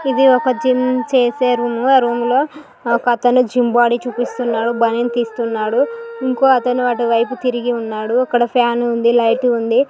ఇది ఒక జిం చేసే రూమ్. ఆ రూములో ఒకతను జిం బాడీ చూపిస్తున్నాడు. బనీను తీస్తున్నాడు. ఇంకొ అతను అటు వైపు తిరిగి ఉన్నాడు. ఫ్యాన్ ఉంది. లైట్ ఉంది.